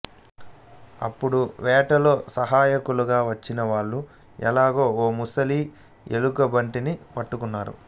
అప్పుడు వేటలో సహాయకులుగా వచ్చిన వాళ్ళు ఎలాగో ఓ ముసలి ఎలుగుబంటిని పట్టుకున్నారు